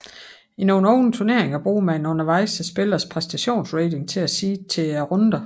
I nogle åbne turneringer bruger man undervejs spillernes præstationsrating til at seede til runderne